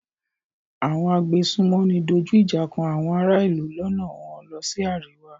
Àwọn agbésùnmòmí dojú ìjà kan àwọn ará-ìlú lọ́nà wọ́n lọ sí àríwá.